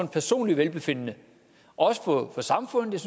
personlige velbefindende og også for samfundet